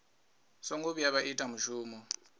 songo vhuya vha ita mushumo